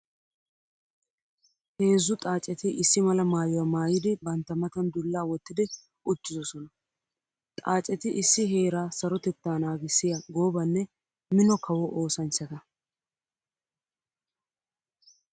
Heezzu xaacetti issi mala maayuwa maayiddi bantta matan dulla wottiddi uttidosnna. Xaacetti issi heera sarotetta naagissiya goobanne mino kawo oosanchchatta.